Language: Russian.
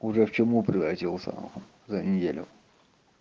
уже в чуму превратился за неделю